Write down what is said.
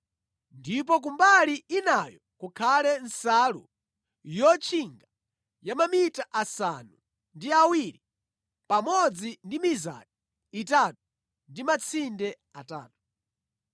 Ndipo ku mbali inayo kukhale nsalu yotchinga ya mamita asanu ndi awiri pamodzi ndi mizati itatu ndi matsinde atatu.